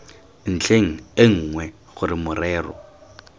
ntlheng e nngwe gore morero